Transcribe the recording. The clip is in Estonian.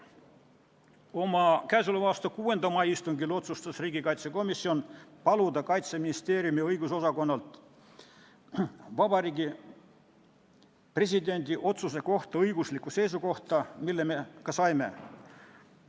Oma k.a 6. mai istungil otsustas riigikaitsekomisjon paluda Kaitseministeeriumi õigusosakonnalt Vabariigi Presidendi otsuse kohta õiguslikku seisukohta, mille me ka saime.